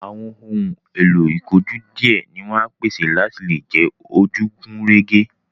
Àwọn ohun èlò ìkojú díẹ̀ ni wọ́n á pèsè láti lè jẹ́ ojú gùn régé